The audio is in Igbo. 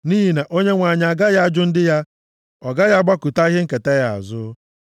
Nʼihi na Onyenwe anyị agaghị ajụ ndị ya; ọ gaghị agbakụta ihe nketa ya azụ.